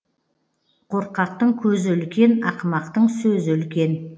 қорқақтың көзі үлкен ақымақтың сөзі үлкен